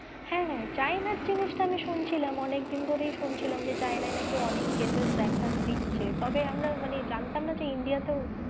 হ্যাঁ হ্যাঁ China র জিনিস টা আমি শুনছিলাম অনেক দিন ধরেই শুনছিলাম যে China এ নাকি অনেক cases দেখা দিচ্ছে তবে আমরা মানে জানতাম না যে India তেও,